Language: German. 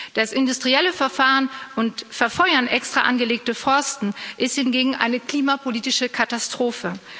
Das industrielle Verfahren und Verfeuern extra angelegter Forste ist hingegen eine klimapolitische Katastrophe.